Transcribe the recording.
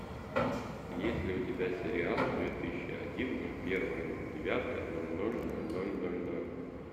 есть ли у тебя сериал две тысячи один ноль первое ноль девятое ноль ноль ноль ноль ноль ноль